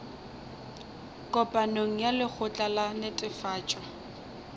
kopanong ya lekgotla la netefatšo